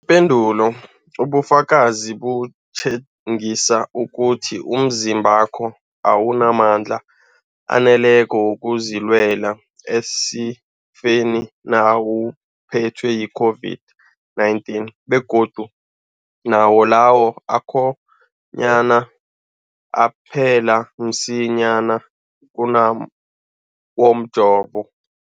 Ipendulo, ubufakazi butjengisa ukuthi umzimbakho awunamandla aneleko wokuzilwela esifeni nawuphethwe yi-COVID-19, begodu nawo lawo akhonyana aphela msinyana kunawomjovo.